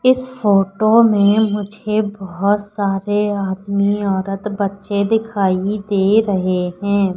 इस फोटो में मुझे बहुत सारे आदमी औरत बच्चे दिखाइए दे रहे हैं।